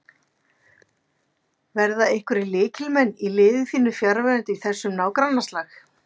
Verða einhverjir lykilmenn í liði þínu fjarverandi í þessum nágrannaslag?